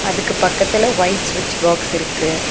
இதுக்கு பக்கத்துல ஒயிட் ஸ்விட்ச் பாக்ஸ் இருக்கு.